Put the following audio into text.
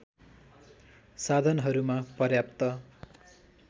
साधनहरूमा पर्याप्त